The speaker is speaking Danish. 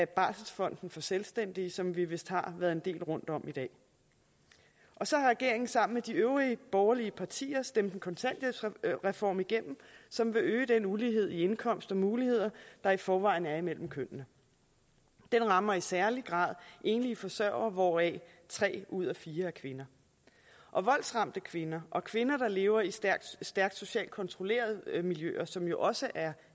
barselsfond for selvstændige som vi vist har været en del rundt om i dag så har regeringen sammen med de øvrige borgerlige partier stemt en kontanthjælpsreform igennem som vil øge den ulighed i indkomst og muligheder der i forvejen er imellem kønnene den rammer i særlig grad enlige forsørgere hvoraf tre ud af fire er kvinder og voldsramte kvinder og kvinder der lever i stærkt socialt kontrollerede miljøer som jo også er